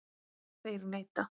Þeir neita.